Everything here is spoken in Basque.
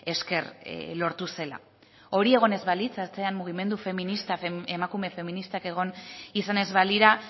esker lortu zela hori egon ez balitz atzean mugimendu feminista emakume feministak egon izan ez balira